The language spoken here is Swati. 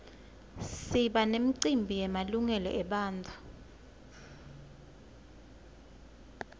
siba nemicimbi yemalungelo ebantfu